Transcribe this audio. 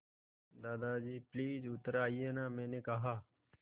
दादाजी प्लीज़ उतर आइये न मैंने कहा